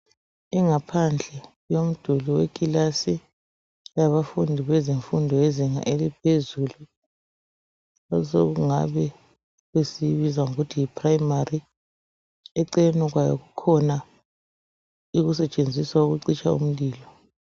Ingaphandle yomduli wekilasi. Yabafundi bezemfundo yezinga eliphezulu. Esokungabe esiyibiza ngokuthi yiprimary. Eceleni kwayo, kukhona esikusebenzisa ukucitsha umlilo.